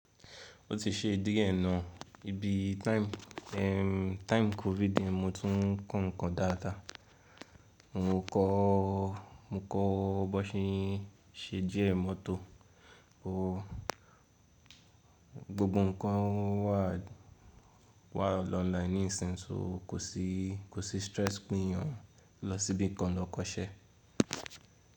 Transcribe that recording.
Ó ti ṣe díẹ̀ náà ibi time, time COVID yẹn mo tún kọ́ nǹkan dáadáa. Mo kọ́, mo kọ́ b'ọ́n ṣe ń ṣe jíà mọ́tò. O, gbogbo nǹkan wà, wà online ní ìsinsìnyí, sọ kò sí, kò sí stress pín yan lọ síbìkan lọ kọ́ṣẹ́.